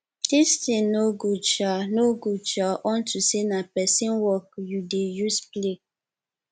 dis thing no good shaa no good shaa unto say na person work you dey use play